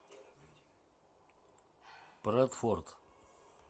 брадфорд